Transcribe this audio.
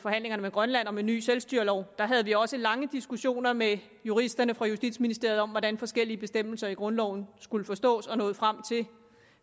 forhandlingerne med grønland om en ny selvstyrelov der havde vi også lange diskussioner med juristerne fra justitsministeriet om hvordan forskellige bestemmelser i grundloven skulle forstås og nåede frem til